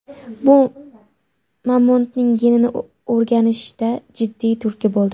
Bu mamontning genini o‘rganishda jiddiy turtki bo‘ldi.